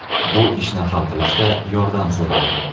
Bu ishni hal qilishda yordam so‘radim.